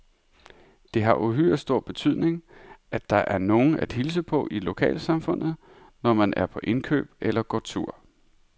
Det har uhyre stor betydning, at der er nogen at hilse på i lokalsamfundet, når man er på indkøb eller går tur.